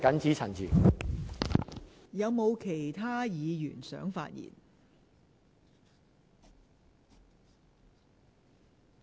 是否有其他議員想發言？